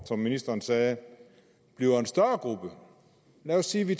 som ministeren sagde bliver en større gruppe lad os sige at vi